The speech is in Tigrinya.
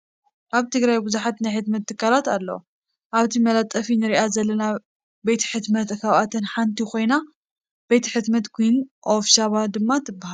ኣብ ትግራይ ብዙሓት ናይ ሕትመት ትካላት ኣለው እዛ ኣብቲ መፋለጢ ንሪኣ ዘለና ቤት ሕትመት ካብኣተን ሓንቲ ኮይና ቤት ሕትመን ኩዊን ኦፍ ሸባ ድማ ትበሃል፡፡